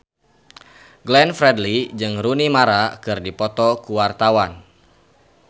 Glenn Fredly jeung Rooney Mara keur dipoto ku wartawan